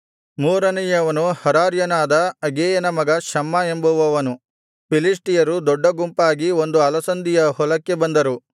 ಮೂರನೆಯವನು ಹರಾರ್ಯನಾದ ಆಗೇಯನ ಮಗ ಶಮ್ಮ ಎಂಬುವವನು ಫಿಲಿಷ್ಟಿಯರು ದೊಡ್ಡ ಗುಂಪಾಗಿ ಒಂದು ಅಲಸಂದಿಯ ಹೊಲಕ್ಕೆ ಬಂದರು